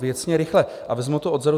Věcně, rychle a vezmu to odzadu.